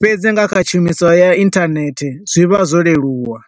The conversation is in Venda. fhedzi nga kha tshumiso ya internet, zwi vha zwo leluwa.